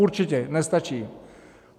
Určitě nestačí.